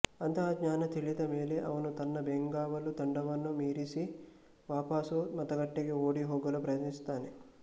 ಅಂತಹ ಜ್ಞಾನ ತಿಳಿದ ಮೇಲೆ ಅವನು ತನ್ನ ಬೆಂಗಾವಲು ತಂಡವನ್ನು ಮೀರಿಸಿ ವಾಪಸು ಮತಗಟ್ಟೆಗೆ ಓಡಿಹೋಗಲು ಪ್ರಯತ್ನಿಸುತ್ತಾನೆ